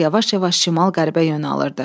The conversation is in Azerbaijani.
Qayıq yavaş-yavaş şimal-qərbə yön alırdı.